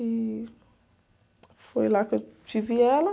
E foi lá que eu tive ela.